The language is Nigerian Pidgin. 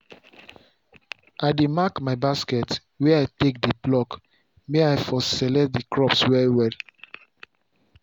i dey mark my basket wey i take dey pluck may i for select the crops well well